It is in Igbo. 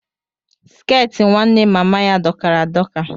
Skẹti nwanne mama ya dokara adoka.